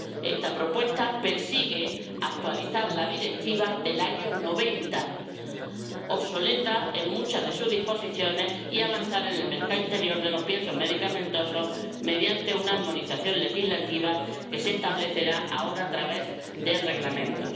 Esta propuesta persigue actualizar la Directiva del año 1990, obsoleta en muchas de sus disposiciones, y avanzar en el mercado interior de los piensos medicamentosos mediante una armonización legislativa que se establecerá ahora a través de reglamentos.